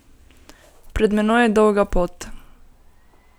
Pred menoj je dolga pot.